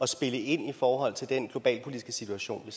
spille ind i forhold til den globalpolitiske situation